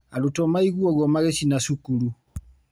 Arutwo maigwa ũguo magĩcina cukuru.